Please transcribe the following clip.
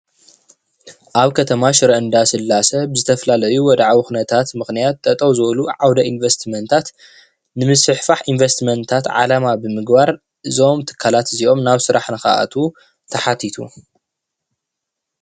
ኣብ ከተማ ሽረ እንዳስላሴ ብዝተፈላለዩ ወድዓዊ ኩነታት ምክንያት ጠጠው ዝበሉ ዓውድ ኢንቨስትመንታት ንምስፍሕፋሕ ኢንቨስትመንታት ዓለማ ብምግባር እዞም ትካላት እዚኦም ናብ ስራሕ ንክኣትው ተሓቲቱ፡፡